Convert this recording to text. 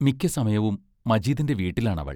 മിക്ക സമയവും മജീദിന്റെ വീട്ടിലാണവൾ.